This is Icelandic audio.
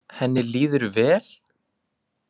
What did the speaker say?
Henni líður vel?